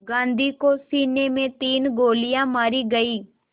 गांधी को सीने में तीन गोलियां मारी गईं